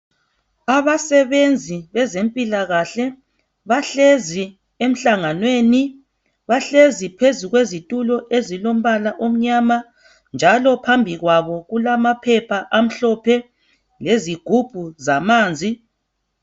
Abasebenzi bezempila kahle bahlezi emhlanganweni bahlezi phezulu kwezitulo ezilombala omnyama njalo phambi kwabo kulama phepha amhlophe lezigubhu zamanzi.